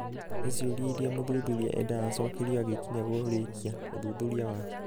nĩ ciũria iria mũthuthuria endaga acokerio agĩkinya kũrĩkia ũthuthuria wake.